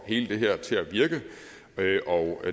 hele det her til at virke og